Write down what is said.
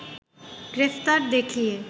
গ্রেপ্তার দেখিয়ে